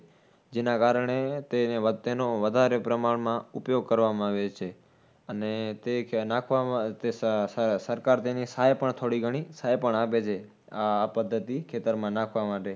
જેના કારણે તેને વધે, તેનો વધારે પ્રમાણમાં ઉપયોગ કરવા આવે છે. અને તે નાખવામાં સ સ સરકાર તેની સહાય પણ થોડી ઘણી, સહાય પણ આપે છે. આહ આ પદ્ધતિ ખેતરમાં નાખવા માટે.